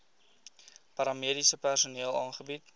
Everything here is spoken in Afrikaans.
paramediese personeel aangebied